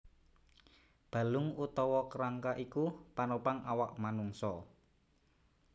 Balung utawa kerangka iku panopang awak manungsa